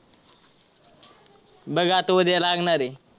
बघ आता उद्या लागणारे.